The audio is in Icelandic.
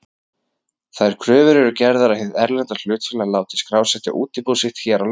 Þær kröfur eru gerðar að hið erlenda hlutafélag láti skrásetja útibú sitt hér á landi.